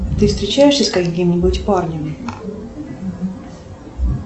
ты встречаешься с каким нибудь парнем